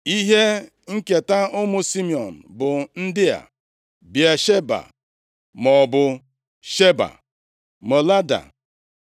Ihe nketa ụmụ Simiọn bụ ndị a: Bịasheba (maọbụ Sheba), Molada,